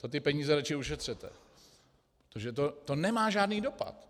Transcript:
To ty peníze raději ušetřete, protože to nemá žádný dopad.